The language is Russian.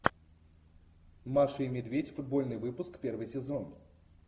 маша и медведь футбольный выпуск первый сезон